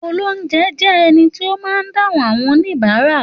Òlóunjé jé èní tí ó má dahun àwõn oníbàrá